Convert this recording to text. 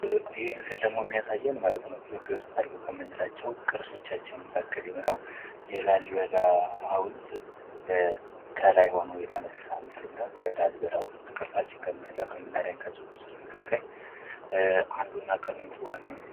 ይህ ምስል ደግሞ የሚያሳየን ማለት ነዉ ኢትዮጵያ ዉስጥ አሉ ከምንላቸዉ ቅርሶቻችን መካከል የሆነዉ የላሊበላ ሀዉልት ከላይ ሆኖ የተነሳ ምስል ነዉ። የላሊበላ ሀዉልት ቅርሳችን ከምንለዉ ከምናደንቃቸዉ ቅርሶች መካከል አንዱ እና ዋነኛዉ ነዉ።